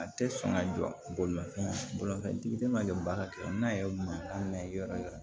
A tɛ sɔn ka jɔ bolimafɛn bolimafɛntigi ma kɛ baara kɛ n'a ye mankan mɛn yɔrɔ wɛrɛ